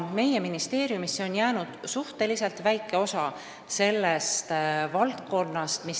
Meie ministeeriumisse on jäänud alles suhteliselt väike osa IT-arenduste valdkonnast.